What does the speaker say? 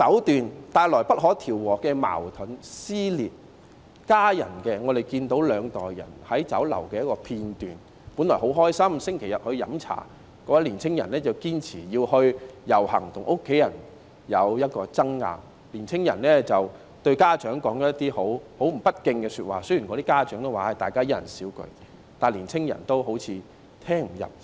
在家庭方面，我們看到有一段兩代人在酒樓的短片，本來星期日一家人飲茶是很開心的，但年青人堅持要遊行，跟家人發生爭拗，並對家長說了一些十分不敬的說話，雖然家長也說一人少一句，但年青人仿如聽不入耳般。